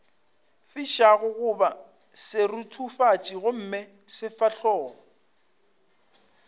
fišago goba seruthufatši gomme sefahlogo